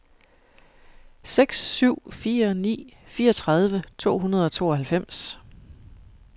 seks syv fire ni fireogtredive to hundrede og tooghalvfems